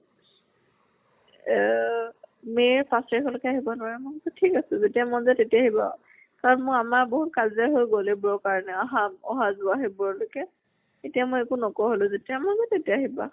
এহঅ may ৰ পাঁছ তাৰিখলৈকে আহব নোৱাৰে। মই কছো ঠিক আছে, যেতিয়া মন যায় তেতিয়া আহিবা আৰু। কাৰণ মোৰ আমাৰ বহুত কাজিয়া হৈ গল এইবোৰৰ কাৰণে। আহা অহা যোৱা সেইবোৰ লৈকে। এতিয়া মই একো নোকোৱা হলো। যেতিয়া মন যায় তেতিয়া আহিবা।